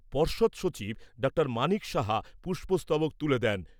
পর্ষদ সচিব ডক্টর মানিক সাহা পুস্পস্তবক তুলে দেন।